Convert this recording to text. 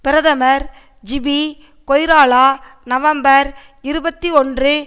பிரதமர் ஜிபி கொய்ராலா நவம்பர் இருபத்தி ஒன்று